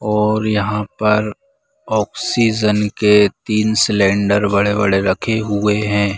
और यहाँ पर ऑक्सीजन के तीन सिलिंडर बड़े-बड़े रखे हुए हैं।